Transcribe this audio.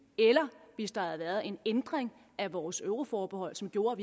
eller hvis der havde været en ændring af vores euroforbehold som gjorde